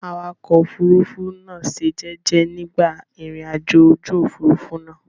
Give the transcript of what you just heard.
Awakọ̀ òfurufú náà ṣe jẹ́jẹ́ nígbà ìrìnàjò ojú òfurufú náà.